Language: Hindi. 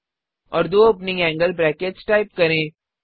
और दो ओपनिंग एंगल ब्रैकेट्स टाइप करें